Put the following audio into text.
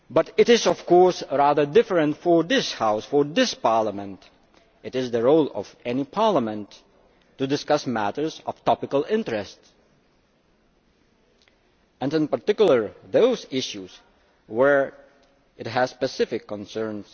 It is, of course, rather different for this House, for this Parliament. It is the role of any Parliament to discuss matters of topical interest and in particular those issues where it has specific concerns.